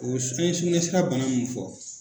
O s an ye sugunɛ sira bana mun fɔ